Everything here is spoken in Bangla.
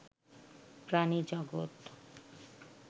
প্রাণী জগত